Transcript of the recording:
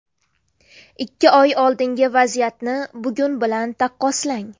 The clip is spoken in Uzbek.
Ikki oy oldingi vaziyatni bugun bilan taqqoslang.